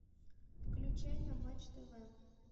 включай на матч тв